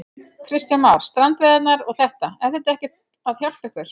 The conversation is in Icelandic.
Kristján Már: Strandveiðarnar og þetta, er þetta ekkert að hjálpa ykkur?